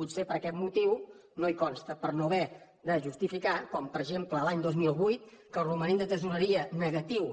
potser per aquest motiu no hi consta per no haver de justificar com per exemple l’any dos mil vuit que el romanent de tresoreria negatiu